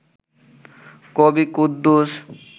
কবি কুদ্দুস